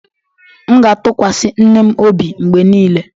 M ga-atụkwasị nne m obi mgbe niile.